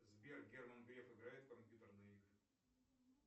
сбер герман греф играет в компьютерные игры